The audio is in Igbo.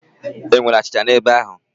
E nwere achịcha n'ebe ahụ?